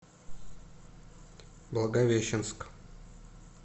благовещенск